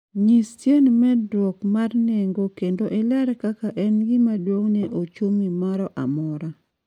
nyis tiend medruok ma nengo kendo iler kaka en gima duong' ne ochumi moro amora